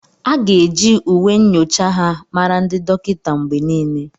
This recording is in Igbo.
A ga-eji uwe nyocha ha mara ndị dọkịta mgbe niile.